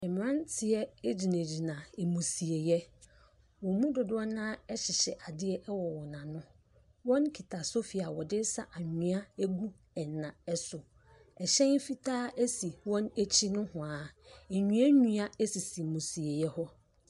Mmeranteɛ gyinagyina amusieeɛ. Wɔn mu dodoɔ no ara hyehyɛ adeɛ wɔ wɔn ano. Wɔkita sofi a wɔde sa anwea gu nna so. Ɛhyɛn fitaa si wɔn akyi nohoa. Nnua nnua sisi amusieeɛ hɔ.